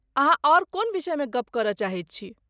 अहाँ आओर कोन विषयमे गप्प करय चाहैत छी?